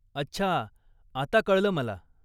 अच्छा, आता कळल मला